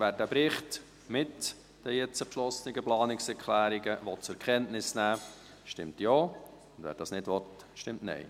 Wer diesen Bericht mit den jetzt beschlossenen Planungserklärungen zur Kenntnis nehmen will, stimmt Ja, wird dies nicht will, stimmt Nein.